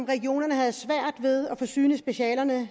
regionerne havde svært ved at forsyne specialer